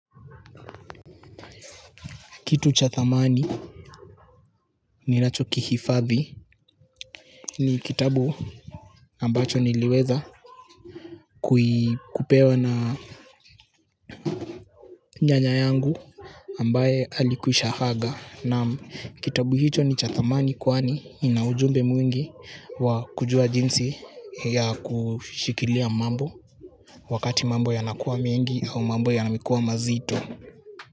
Kitu cha thamani ninachokihifadhi ni kitabu ambacho niliweza kupewa na nyanya yangu ambaye alikwisha aga. Naam kitabu hicho ni cha thamani kwani ina ujumbe mwingi wa kujua jinsi ya kushikilia mambo wakati mambo yanakuwa mengi au mambo yamekuwa mazito.